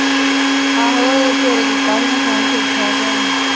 ਆਹੋ ਉਹ ਸਵੇਰੇ ਕੀਤਾ ਹੀ ਮੈਂ phone ਠੀਕ ਠਾਕ ਹੈ ਉਹ ਵੀ।